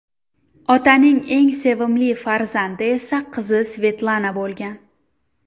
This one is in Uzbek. Otaning eng sevimli farzandi esa qizi Svetlana bo‘lgan.